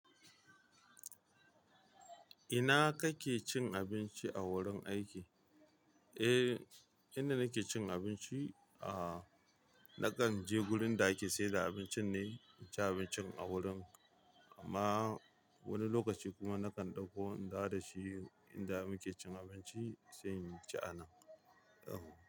Ina kake cin abinci a wurin aiki? Eh, inda nake cin abinci, a nakan je gurin da ake sayar da abincin ne, inci abincin a gurin. Amma wani lokaci kuma nakan ɗauko in dawo da shi inda muke cin abinci sai in ci a nan.